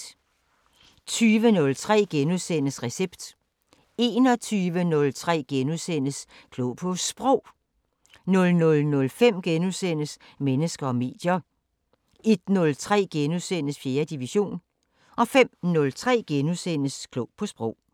20:03: Recept * 21:03: Klog på Sprog * 00:05: Mennesker og medier * 01:03: 4. division * 05:03: Klog på Sprog *